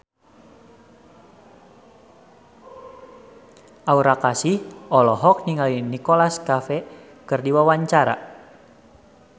Aura Kasih olohok ningali Nicholas Cafe keur diwawancara